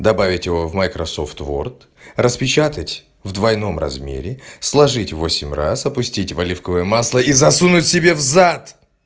добавить его в майкрософт уорд распечатать в двойном размере сложить в восемь раз опустить в оливковое масло и засунуть себе в зад